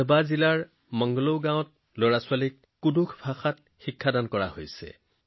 গাৰ্বা জিলাৰ মংলো গাঁৱত শিশুসকলক কুৰুখ ভাষা শিকোৱা হৈছে